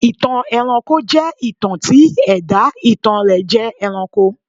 ìtàn ẹranko jẹ́ ìtàn tí ẹ̀dá ìtàn rẹ̀ jẹ́ ẹranko.